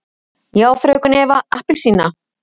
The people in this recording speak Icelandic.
Já, fröken Eva appelsína?